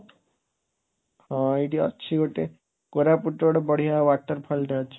ହଁ, ଏଇଠି ଅଛି ଗୋଟେ, କୋରାପୁଟରେ ଗୋଟେ ବଢ଼ିଆ waterfallଟେ ଅଛି।